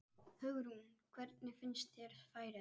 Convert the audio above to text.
Hugrún: Hvernig finnst þér færið?